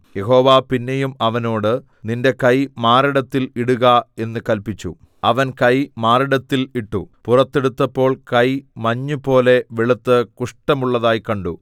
യഹോവ പിന്നെയും അവനോട് നിന്റെ കൈ മാറിടത്തിൽ ഇടുക എന്ന് കല്പിച്ചു അവൻ കൈ മാറിടത്തിൽ ഇട്ടു പുറത്ത് എടുത്തപ്പോൾ കൈ മഞ്ഞുപോലെ വെളുത്ത് കുഷ്ഠമുള്ളതായി കണ്ടു